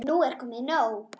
Nú er nóg komið.